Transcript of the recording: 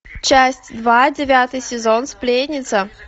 часть два девятый сезон сплетница